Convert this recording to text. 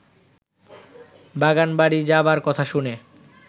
বাগানবাড়ি যাবার কথা শুনে